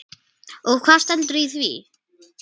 Og hvað stendur í því?